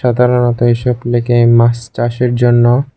সাধারণত এসব লেখে মাছ চাষের জন্য।